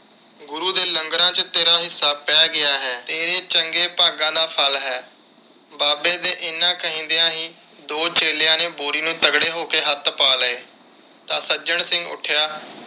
ਗੁਰੂ ਦੇ ਲੰਗਰਾਂ ਵਿਚ ਤੇਰਾ ਹਿੱਸਾ ਪੈ ਗਿਆ ਹੈ। ਤੇਰੇ ਚੰਗੇ ਭਾਗਾਂ ਦਾ ਫਲ ਹੈ। ਬਾਬੇ ਦੇ ਇੰਨੇ ਕਹਿੰਦਿਆ ਹੀ ਦੋ ਚੇਲਿਆਂ ਨੇ ਬੋਰੀ ਨੂੰ ਤਗੜੇ ਹੋ ਕੇ ਹੱਥ ਪਾ ਲਏ ਤਾਂ ਸੱਜਣ ਸਿੰਘ ਉੱਠਿਆ